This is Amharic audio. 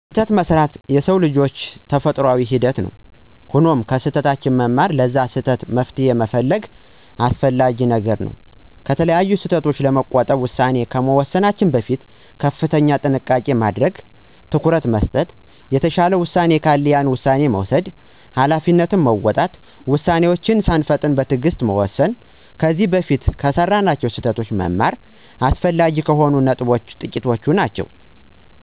ስህተት መሥራት የሰው ልጅ ተፈጥሮአዊ ሂደት ነው። ሆኖም ከስህተታችን በመማር ለዛ ስህተት መፍትሄ መፈለግ አስፈላጊ ነገር ነው። ከተለያዩ ስህተቶች ለመቆጠብ ውሳኔ ከመወሰናችን በፊት ከፍተኛ ጥንቃቄ ማድረግ፣ ትኩረት መስጠት፣ የተሻለ ውሳኔ ካለ ያን ውሳኔ መውሰድ፣ ሀላፊነትን መወጣት፣ ውሳኔወችን ሳንፈጥን በትእግስት በመሆን መወሰን፣ ከዚ በፊት ከሰራናቸው ስህተቶች መማር አስፈላጊ ከሆኑት ነጥቦች ጥቂቶቹ ናቸው።